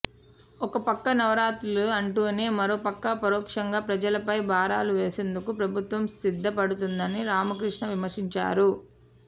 ఒకపక్క నవరత్నాలు అంటూనే మరోపక్క పరోక్షంగా ప్రజలపై భారాలు వేసేందుకు ప్రభుత్వం సిద్ధపడుతోందని రామకృష్ణ విమర్శించారు